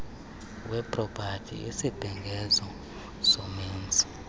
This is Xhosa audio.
wepropati isibhengezo somenzi